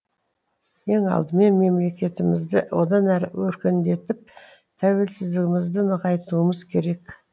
ең алдымен мемлекетімізді одан әрі өркендетіп тәуелсіздігімізді нығайтуымыз керек